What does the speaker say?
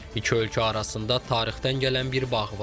İki ölkə arasında tarixdən gələn bir bağ var.